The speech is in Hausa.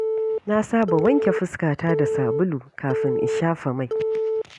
Na saba wanke fuskata da sabulu kafin in shafa mai.